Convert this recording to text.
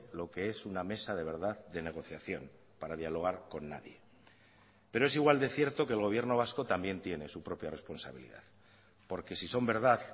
lo que es una mesa de verdad de negociación para dialogar con nadie pero es igual de cierto que el gobierno vasco también tiene su propia responsabilidad porque si son verdad